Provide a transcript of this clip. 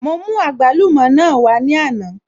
Mo mú àgbálùmọ̀ náà wá ní àná